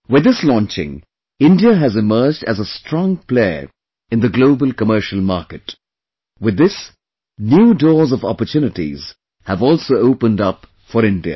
With this launching, India has emerged as a strong player in the global commercial market...with this, new doors of oppurtunities have also opened up for India